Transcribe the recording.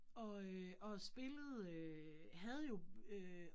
Og øh og spillede øh havde jo øh